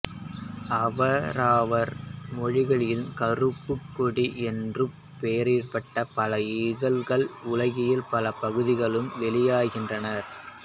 அவரவர் மொழிகளில் கருப்புக் கொடி என்றுப் பெயரிடப்பட்ட பல இதழ்கள் உலகின் பல பகுதிகளில் வெளியாகின்றன